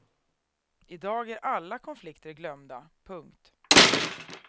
I dag är alla konflikter glömda. punkt